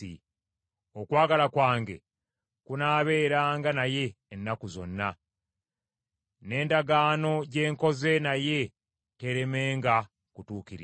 Okwagala kwange kunaabeeranga naye ennaku zonna; n’endagaano gye nkoze naye teeremenga kutuukirira.